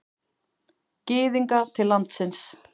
Gyðinga til landsins.